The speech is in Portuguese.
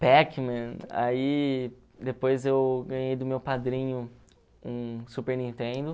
Pac-Man, aí depois eu ganhei do meu padrinho um Super Nintendo.